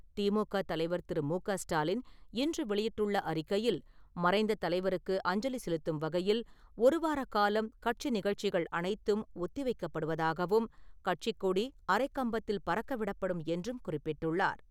திமுக தலைவர் திரு. மு.க.ஸ்டாலின் இன்று வெளியிட்டுள்ள அறிக்கையில், மறைந்த தலைவருக்கு அஞ்சலி செலுத்தும் வகையில் ஒருவார காலம் கட்சி நிகழ்ச்சிகள் அனைத்தும் ஒத்தி வைக்கப்படுவதாகவும், கட்சிக் கொடி அரைக் கம்பத்தில் பறக்கவிடப்படும் என்றும் குறிப்பிட்டுள்ளார்.